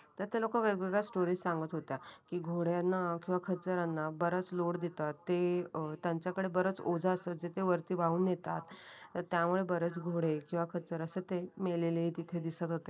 तर ते लोक वेगवेगळ्या स्टोरी सांगत होत्या कि घोड्यांना असो वा खचरा ना बऱ्याच लोड देतात. ते त्यांच्याकडे बराच ओजा असतात. जे ते वरती वाहून नेतात. त्यामुळे बरेच घोडे किवा खचर असेल तिथे मेलेले दिसत होते